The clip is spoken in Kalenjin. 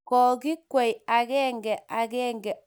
koikwei agenge agenge akowa gaa ya kobunu sukul.